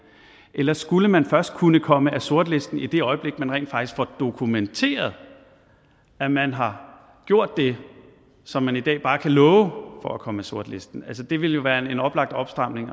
eller skulle man først kunne komme af sortlisten i det øjeblik man rent faktisk får dokumenteret at man har gjort det som man i dag bare kan love for at komme af sortlisten altså det ville jo være en oplagt opstramning at